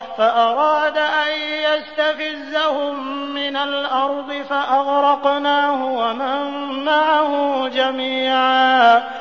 فَأَرَادَ أَن يَسْتَفِزَّهُم مِّنَ الْأَرْضِ فَأَغْرَقْنَاهُ وَمَن مَّعَهُ جَمِيعًا